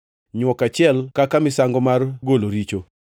nywok achiel kaka misango mar golo richo;